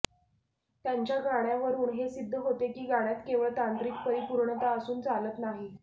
त्यांच्या गाण्यावरून हे सिद्ध होते की गाण्यात केवळ तांत्रिक परिपूर्णता असून चालत नाही